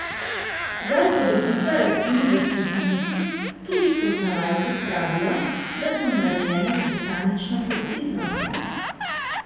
Za upodobitve rastlin v slikanici tudi poznavalci pravijo, da so narejene z botanično preciznostjo.